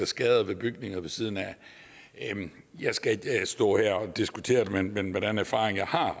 skader på bygninger ved siden af jeg skal ikke stå her og diskutere det men med den erfaring jeg har